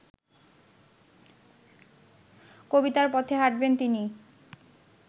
কবিতার পথে হাঁটবেন তিনি